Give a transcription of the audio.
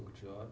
Banco de hora